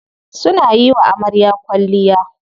Suna yiwa amarya kwalliya.